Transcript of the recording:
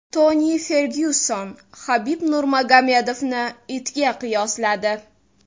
Toni Fergyuson Habib Nurmagomedovni itga qiyosladi.